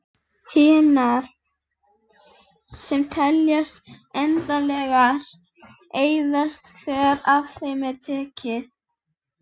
Hinar, sem teljast endanlegar, eyðast þegar af þeim er tekið.